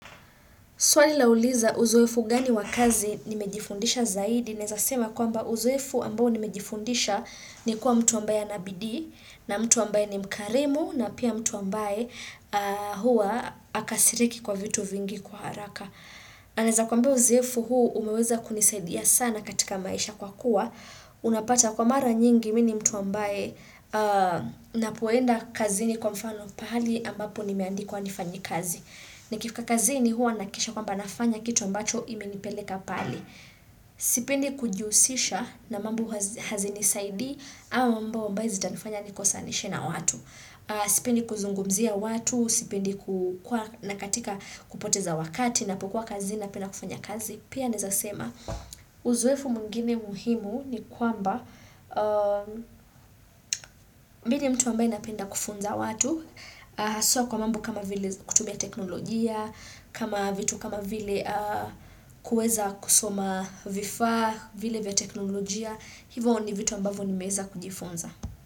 Swali lauliza uzoefu gani wakazi nimejifundisha zaidi, naeza sema kwamba uzoefu ambao nimejifundisha ni kuwa mtu ambaye anabidii, na mtu ambaye ni mkarimu, na pia mtu ambaye huwa akasiriki kwa vitu vingi kwa haraka. Naeza kuambia uzoefu huu umeweza kunisaidia sana katika maisha kwa kuwa Unapata kwa mara nyingi mini mtu ambaye napoenda kazini kwa mfano pahali ambapo nimeandikwa nifanye kazi Nikifika kazini huwa nahakikisha kwamba nafanya kitu ambacho imenipeleka pale Sipendi kujiusisha na mambo hazini saidii au mamba ambaye zita nifanya nikosa nishena watu Sipendi kuzungumzia watu, sipendi nakatika kupoteza wakati na pokuwa kazi na penda kufanya kazi Pia naezasema, uzoefu mwingine muhimu ni kwamba mini mtu ambaye napenda kufunza watu Haswa kwa mambo kama vile kutumia teknolojia, kama vitu kama vile kueza kusoma vifaa, vile vya teknolojia Hivo ni vitu ambavo ni meweza kujifunza.